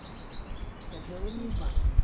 Quer dizer, eu e a minha irmã.